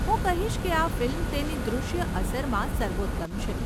હું કહીશ કે આ ફિલ્મ તેની દૃશ્ય અસરમાં સર્વોત્તમ છે.